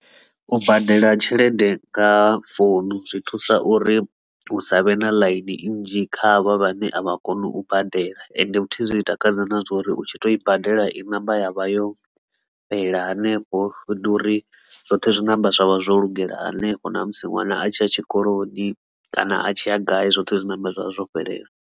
U badela tshelede nga founu zwi thusa uri hu savhe na ḽaini nnzhi kha avha vhane a vha koni u badela ende futhi zwi takadza na zwa uri u tshi to i badela i namba yavha yo fhelela hanefho u ḓori zwoṱhe zwi namba zwavha zwo lugela hanefho na musi ṅwana a tshi ya tshikoloni kana a tshi ya gai zwoṱhe zwi namba zwa vha zwo fhelela.